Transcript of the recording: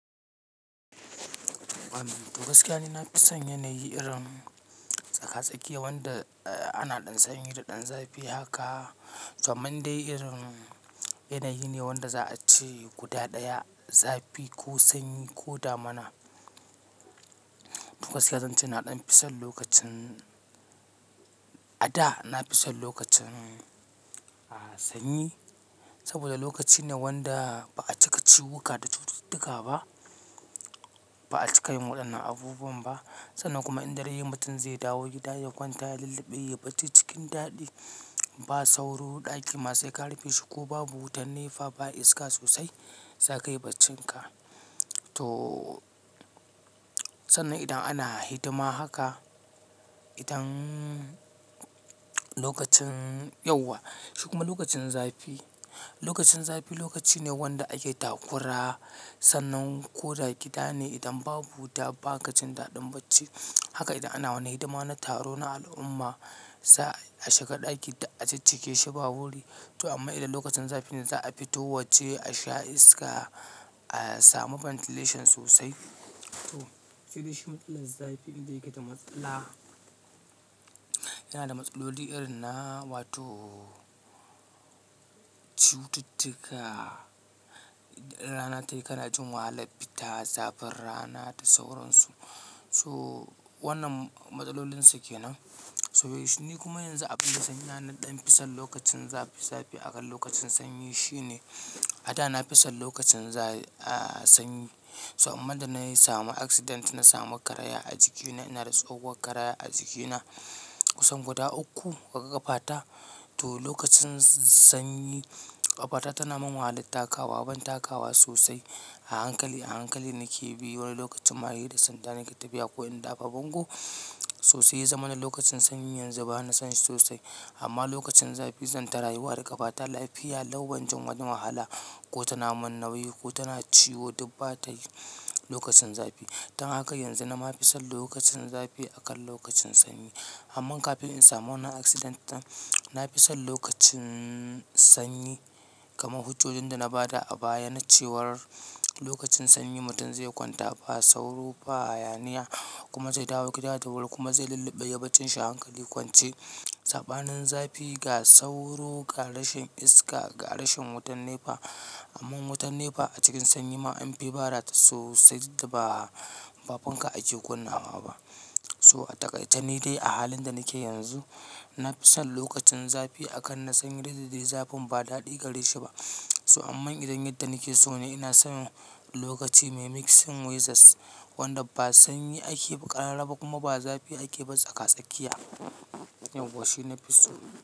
Toh gaskiya ni na fi son yanayi irin tsaka-tsakiya wanda ana ɗan sanyi da ɗan zafi haka. Toh amman dai irin yanayi ne wanda za a ce guda ɗaya zafi ko sanyi ko damina. Kuma zan ce na ɗan fi son lokacin, a da na fi son lokacin sanyi saboda lokaci ne wanda ba a cika ciwwuka da cututtuka ba, ba a cika yin waɗannan abubuwan ba. Sannan kuma idan dare yayi mutum zai dawo gida ya kwanta ya lulluɓe, ya baci cikin daɗi ba sauro ɗaki masu ƙarfi shi ko babu wutar nefa ba iska sosai za ka yi bacinka. Toh sannan idan ana hidima haka, idan lokacin yawa. Shi kuma lokacin zafi, lokacin zafi lokaci ne wanda ake takura. Sannan ko da gida ne idan babu wuta ba ka jin daɗin bacci. Haka idan ana wani hidima na taro na al'umma za a shiga ɗaki duk a ciccike shi ba wuri. Toh amma idan lokacin zafi ne za a fito wacce a sha iska, a samu ventilation sosai. Toh sai dai shi matsalar zafi. Inda yake da matsala. Yana da matsaloli irin na wato cututtuka. Rana tayi kana jin wahalar fita zafin rana da sauransu. So wannan matsalolinsa ke nan. Toh shi ni kuma yanzu abin da sanya na ɗan fi son lokacin zafi zafi akan lokacin sanyi shine a da na fi son lokacin sanyi. Toh amma da na samu accident, na samu karaya a jikina. Ina da tsowon karaya a jikina kusan guda uku daga kafata. Toh lokacin sanyi ƙafata tana mun wahalar takawa, ban takawa sosai. A hankali a hankali nake bi wani lokacin ma sai da sanda nake tafiya ko in dafa bango toh sai ya zamana lokacin sanyi yanzu bana son shi sosai. Amma lokacin zafi zan ta rayuwa da ƙafata lafiya, ban jin wani wahala ko tana mun nauyi ko tana ciwo duk ba ta yi lokacin zafi. Dan haka yanzu na ma fi son lokacin zafi akan lokacin sanyi. Amma kafin in samu wannan accident ɗin, na fi son lokacin sanyi. Kaman hujjojin da na ba da a baya na cewar lokacin sanyi mutum zai kwanta ba sauro, ba hayaniya kuma zai dawo gida da wuri kuma zai lulluɓe ya bacci shi a hankali kwance. Saɓanin zafi ga sauro, ga rashin iska, ga rashin wutar nefa. Amma wutar nefa a cikin sanyi ma an fi bada ta sosai ba, ba fanka ake ƙonawa ba. Toh ataƙaitani dai a halin da nake yanzu, na fi son lokacin zafi akan na sanyi duk da dai zafin ba daɗi gare shi ba. Toh amma idan yadda nake so ne ina so lokaci mai mixing weathers wanda ba sanyi ake ba ƙarara ba kuma ba zafi ake bi tsaka-tsakiya. Yauwa shi na fi so.